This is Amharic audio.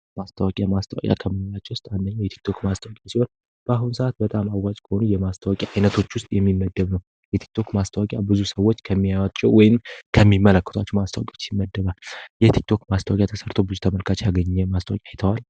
ማስታዋቂያ ማስታዋቂያ ከምንላቸው ውስጥ አንደኛው የቲክቶክ ማስተወቂያ ሲሆን በአሁን ሰዓት በጣም አዋጅ ከሆኑ የማስታዋቂያ ዓይነቶች ውስጥ የሚመደብ ነው የቲክቶክ ማስታዋቂያ ብዙ ሰዎች ከሚያዋቸው ወይም ከሚመለክቷቸው ማስተወቂዎች ሲመደባል የቲክቶወክ ማስታዋቂያ ተሰርቶ ብዙ ተመልካች ያገኘ ማስታወቂያ አይተዋል?